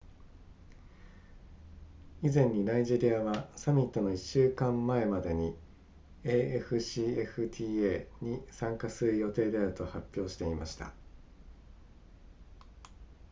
以前にナイジェリアはサミットの1週間前までに afcfta に参加する予定であると発表していました